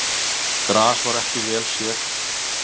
Gras var ekki vel séð.